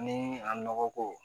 Ni a nɔgɔ ko